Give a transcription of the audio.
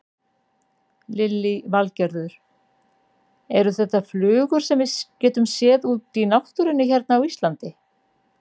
Lillý Valgerður: Eru þetta flugur sem við getum séð út í náttúrunni hérna á Íslandi?